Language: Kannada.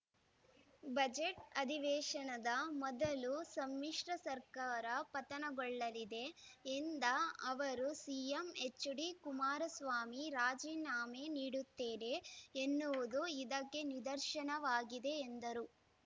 ಬಜೆಟ್‌ ಅಧಿವೇಶನದ ಮೊದಲು ಸಮ್ಮಿಶ್ರ ಸರ್ಕಾರ ಪತನಗೊಳ್ಳಲಿದೆ ಎಂದ ಅವರು ಸಿಎಂ ಎಚ್‌ಡಿಕುಮಾರಸ್ವಾಮಿ ರಾಜೀನಾಮೆ ನೀಡುತ್ತೇನೆ ಎನ್ನುವುದು ಇದಕ್ಕೆ ನಿರ್ದಶನವಾಗಿದೆ ಎಂದರು